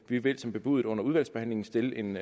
vi vil som bebudet under udvalgsbehandlingen stille en